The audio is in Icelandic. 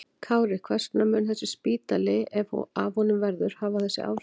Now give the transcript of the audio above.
Kári, hvers vegna mun þessi spítali, ef af honum verður, hafa þessi áhrif?